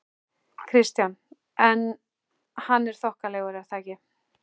Kristján: En hann er þokkalegur er það ekki?